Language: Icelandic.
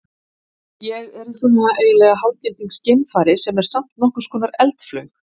Ég er í svona eiginlega hálfgildings geimfari sem er samt nokkurs konar eldflaug.